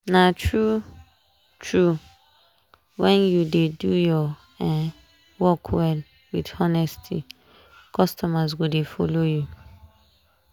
na true! true! when you dey do your um work well with honesty customers go dey follow you.